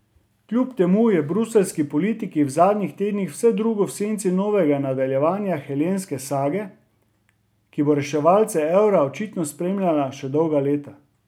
Kljub temu je v bruseljski politiki v zadnjih tednih vse drugo v senci novega nadaljevanja helenske sage, ki bo reševalce evra očitno spremljala še dolga leta.